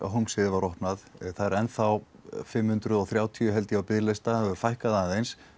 Hólmsheiði var opnað það er ennþá fimm hundruð og þrjátíu held ég á biðlista þeim hefur fækkað aðeins